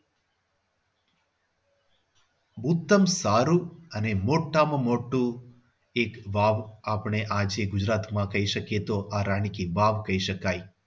ઉત્તમ સારું અને મોટામાં મોટું એક વાવ આપણે આજે ગુજરાતમાં કહી શકીએ તો તો આ રાણી કી વાવ કહી શકાય.